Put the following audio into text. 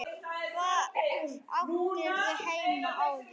Hvar áttirðu heima áður?